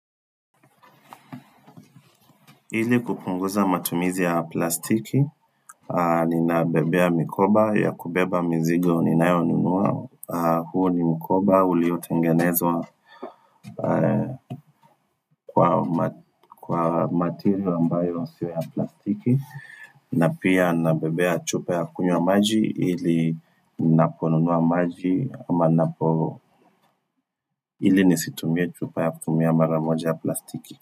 Ili kupunguza matumizi ya plastiki, ninabebea mkoba ya kubeba mzigo ninayonunua. Huu ni mkoba, uliotengenezwa kwa material ambayo sio ya plastiki. Na pia ninabebea chupa ya kunywa maji ili ninaponunua maji ama ninapo ili nisitumie chupa ya kutumia mara moja ya plastiki.